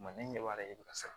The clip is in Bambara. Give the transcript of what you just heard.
Ma ne ɲɛ b'a la e bɛ ka sara